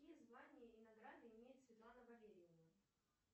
какие звания и награды имеет светлана валерьевна